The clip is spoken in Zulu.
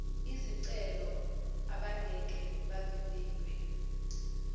izicelo abangeke bavivinywe